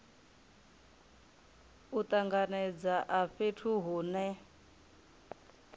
u tanganedza a fhethu hune